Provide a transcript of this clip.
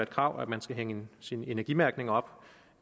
krav at man skal hænge sin energimærkning op